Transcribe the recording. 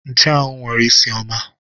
Nchuanwu nwere isi ọma